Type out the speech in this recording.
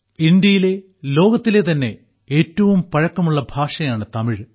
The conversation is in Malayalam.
ഇന്ത്യയിലെ ലോകത്തിലെ തന്നെ ഏറ്റവും പഴക്കമുള്ള ഭാഷയാണ് തമിഴ്